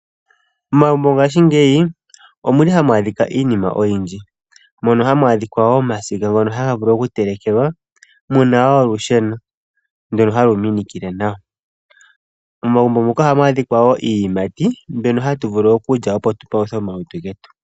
Momagumbo ngaashi ngeyi omuli hamu adhika iinima oyindji mono hamu adhika omasiga ngono haga vulu oku telekelwa, muna olusheno ndu halu minikile nawa momagumbo moka ohamu adhika iiyimati mbyoka hatu vulu okulya opo tu paluthe omalutu getu.